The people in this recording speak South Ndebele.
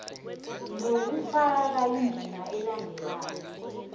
nokufaka indima elandelako